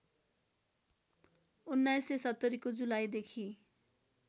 १९७० को जुलाईदेखि